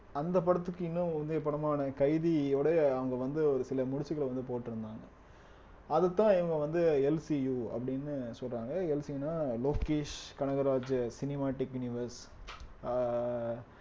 அந்த படத்துக்கு இன்னும் முந்தைய படமான கைதியோட அவங்க வந்து ஒரு சில முடிச்சுகள வந்து போட்டிருந்தாங்க அதத்தான் இவங்க வந்து எல் சி யு அப்படின்னு சொல்றாங்க எல் சி ன்னா லோகேஷ் கனகராஜ் cinema technivers ஆஹ்